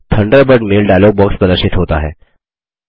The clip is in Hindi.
थंडरबर्ड मैल डायलॉग बॉक्स प्रदर्शित होता है